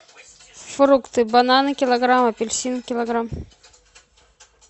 фрукты бананы килограмм апельсины килограмм